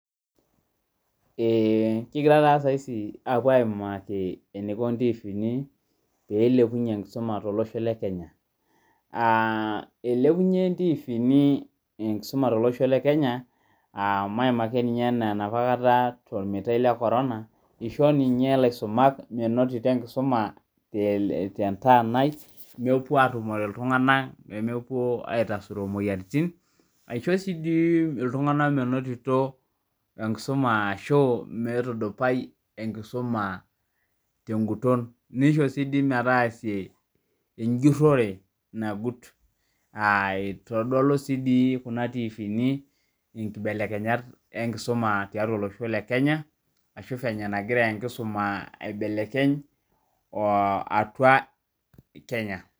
Kigira taa saizi aapo aimaki eneiko intiviini peilepunye enkisuma te losho le [cs[kenya, eilepunye iontiviini enkisuma te losho le Kenya, aa maima ake ninye enaa napa kata tolmitae le korona, eishoo ninye laisomak menotito enkisuma te ntaanai nepuo aatumore ltungana pemepuo aitasuro imoyiaritin, aicho si deii iltungana menotito enkisuma ashu, meitudupai enkisuma te nguton, neisho sii dei metaasie enjurore nagut, aitodolu sii dei kuna ntiviini inkibelekenyat enkisuma tiatua elosho le Kenya, ashu venye nagira nkisuma aibelekeny atua Kenya